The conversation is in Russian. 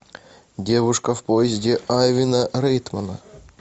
девушка в поезде айвана райтмана